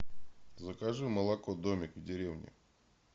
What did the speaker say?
закажи молоко домик в деревне